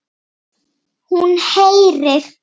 Hún heyrir.